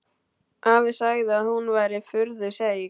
Afi sagði að hún væri furðu seig.